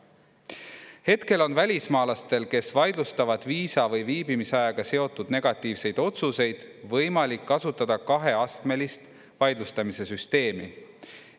Hetkel on välismaalastel, kes vaidlustavad viisa või viibimisajaga seotud negatiivseid otsuseid, võimalik kasutada kaheastmelist vaidlustamise süsteemi.